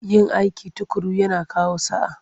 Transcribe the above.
Yin aiki tuƙuru yana kawo sa'a.